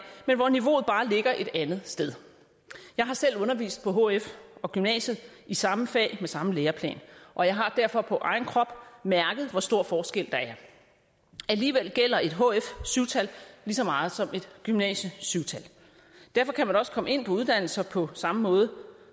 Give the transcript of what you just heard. men hvor niveauet bare ligger et andet sted jeg har selv undervist på hf og gymnasiet i samme fag med samme læreplan og jeg har derfor på egen krop mærket hvor stor forskel der er alligevel gælder et hf syvtal lige så meget som et gymnasie syvtal derfor kan man også komme ind på længerevarende uddannelser på samme måde